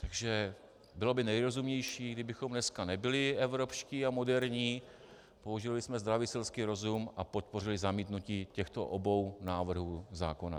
Takže bylo by nejrozumnější, kdybychom dnes nebyli evropští a moderní, použili bychom zdravý selský rozum a podpořili zamítnutí těchto obou návrhů zákonů.